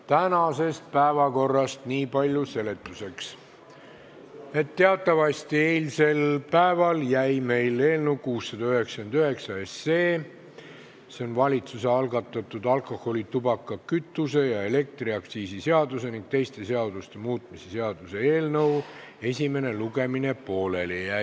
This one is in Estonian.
Tänase päevakorra kohta nii palju seletuseks, et teatavasti jäi meil eilsel päeval eelnõu 699 – see on valitsuse algatatud alkoholi-, tubaka-, kütuse- ja elektriaktsiisi seaduse ning teiste seaduste muutmise seaduse eelnõu – esimene lugemine pooleli.